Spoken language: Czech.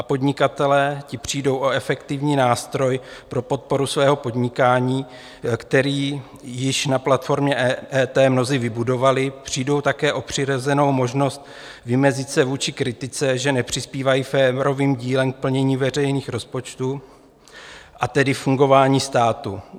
A podnikatelé, ti přijdou o efektivní nástroj pro podporu svého podnikání, který již na platformě EET mnozí vybudovali, přijdou také o přirozenou možnost vymezit se vůči kritice, že nepřispívají férovým dílem k plnění veřejných rozpočtů a tedy fungování státu.